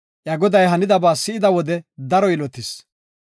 Iya goday hanidaba si7ida wode daro yilotis.